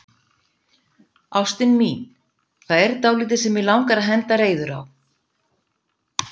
Ástin mín, það er dálítið sem mig langar að henda reiður á.